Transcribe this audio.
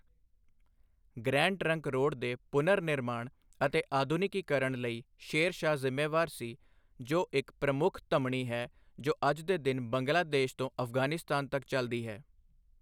Grand Trunk Road ਦੇ ਪੁਨਰਨਿਰਮਾਣ ਅਤੇ ਆਧੁਨਿਕੀਕਰਨ ਲਈ ਸ਼ੇਰ ਸ਼ਾਹ ਜ਼ਿੰਮੇਵਾਰ ਸੀ, ਜੋ ਇੱਕ ਪ੍ਰਮੁੱਖ ਧਮਨੀ ਹੈ ਜੋ ਅੱਜ ਦੇ ਦਿਨ ਬੰਗਲਾਦੇਸ਼ ਤੋਂ ਅਫ਼ਗਾਨਿਸਤਾਨ ਤੱਕ ਚਲਦੀ ਹੈ।